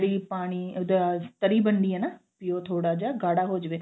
ਜਿਹੜੀ ਪਾਣੀ ਉਹਦਾ ਤਰੀ ਬਣਨੀ ਆ ਨਾ ਵੀ ਉਹ ਥੋੜਾ ਜਾ ਗਾੜਾ ਹੋ ਜਾਵੇ